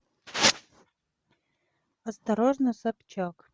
осторожно собчак